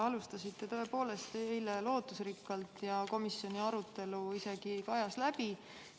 Te alustasite tõepoolest eile lootusrikkalt ja komisjoni arutelu isegi kajas läbi.